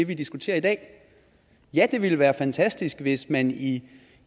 vi diskuterer i dag ja det ville være fantastisk hvis man i